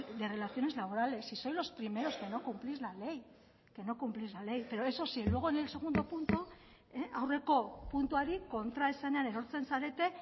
de relaciones laborales y sois los primeros que no cumplís la ley pero eso sí luego en el segundo punto aurreko puntuari kontraesanean erortzen zarete